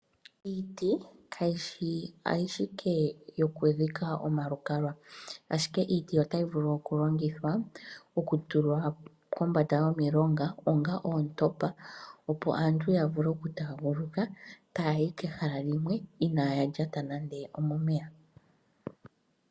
Iiti kayi shi ashike yokudhika omalukalwa, ashike iiti otayi vulu okulongithwa okutulwa kombanda yomilonga, onga oontopa, opo aantu ya vule okutaaguluka taya yi kehala limwe, inaya lyata nando omomeya.